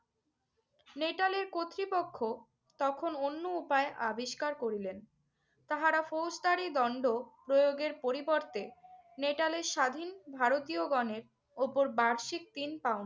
নেটালের কর্তৃপক্ষ তখন অন্য উপায় আবিষ্কার করলেন। তাহারা ফৌজদারি দণ্ড প্রয়োগের পরিবর্তে নেটালের স্বাধীন ভারতীয়গণের উপর বার্ষিক তিন পাউন্ড